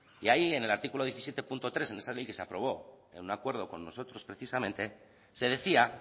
y ahí en el artículo diecisiete punto tres en esa ley que se aprobó en un acuerdo con nosotros precisamente se decía